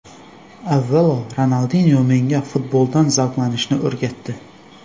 Avvalo Ronaldinyo menga futboldan zavqlanishni o‘rgatdi”.